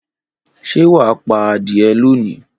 Ṣé wà á pa adìẹ lónìí?